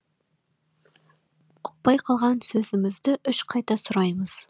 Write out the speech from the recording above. ұқпай қалған сөзімізді үш қайта сұраймыз